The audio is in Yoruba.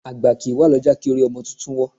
Àgbà kì í wà lọ́jà kí orí ọmọ tuntun wọ́